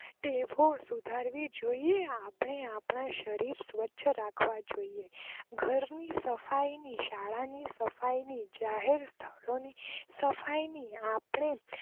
તેવો સુધારવી જોઈએ આપણે આપણાં શરીર ને સવચ્છ રાખવા જોઈએ ઘર ની સફાઈ ની શાળા ના સફાઈ ની જાહેર સ્થળો ની સફાઈ ની આપણેજ